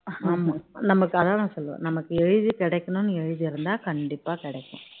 ஆமா நமக்கு அதான் நான் சொல்றேன் நமக்கு எழுதி கிடைக்கணும்னு எழுதி இருந்தா கண்டிப்பா கிடைக்கும்